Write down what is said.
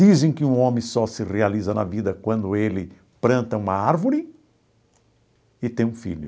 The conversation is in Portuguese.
Dizem que um homem só se realiza na vida quando ele planta uma árvore e tem um filho.